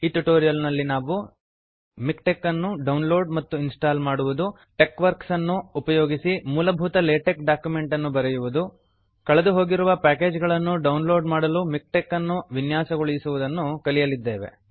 ಈ ಟ್ಯುಟೋರಿಯಲ್ ನಲ್ಲಿ ನಾವು ಮಿಕ್ಟೆಕ್ ಅನ್ನು ಡೌನ್ಲೋಡ್ ಮತ್ತು ಇನ್ಸ್ಟಾಲ್ ಮಾಡುವುದು ಟೆಕ್ವರ್ಕ್ಸ್ ಅನ್ನು ಉಪಯೋಗಿಸಿ ಮೂಲಭೂತ ಲೇಟೆಕ್ ಡಾಕ್ಯುಮೆಂಟನ್ನು ಬರೆಯುವುದು ಕಳೆದುಹೋಗಿರುವ ಪ್ಯಾಕೇಜ್ ಗಳನ್ನು ಡೌನ್ಲೋಡ್ ಮಾಡಲು ಮಿಕ್ಟೆಕ್ ಅನ್ನು ವಿನ್ಯಾಸಗೊಳಿಸುವುದನ್ನು ಕಲಿಯಲಿದ್ದೇವೆ